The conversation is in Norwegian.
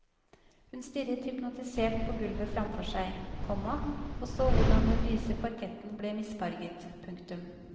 Hun stirret hypnotisert på gulvet framfor seg, komma og så hvordan den lyse parketten ble misfarget. punktum